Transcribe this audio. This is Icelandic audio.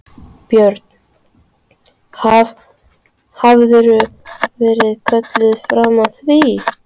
Björn: Haf, hafðirðu verið kölluð fram að því?